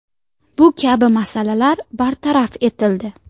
Bu kabi masalalar bartaraf etildi.